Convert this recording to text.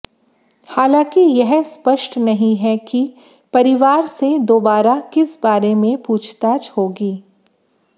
हालांकि यह स्पष्ट नहीं है कि परिवार से दोबारा किस बारे में पूछताछ होगी